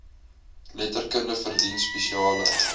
letterkunde verdien spesiale